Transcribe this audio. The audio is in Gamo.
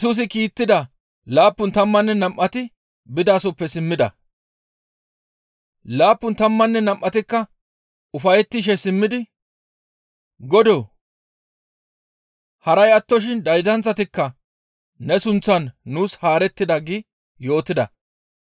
Laappun tammanne nam7atikka ufayettishe simmidi, «Godoo! Haray attoshin daydanththatikka ne sunththan nuus haarettida» gi yootida.